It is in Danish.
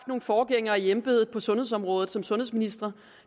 forgængere i embedet på sundedsområdet som sundhedsministre